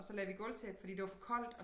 Og så lagde vi gulvtæppe fordi det var for koldt